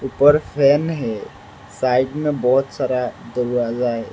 ऊपर फैन है साइड में बहोत सारा दरवाजा है।